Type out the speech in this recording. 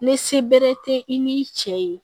Ni se bɛrɛ tɛ i n'i cɛ ye